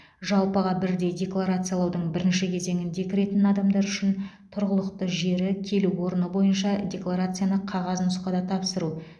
жалпыға бірдей декларациялаудың бірінші кезеңіне кіретін адамдар үшін тұрғылықты жері келу орны бойынша декларацияны қағаз нұсқада тапсыру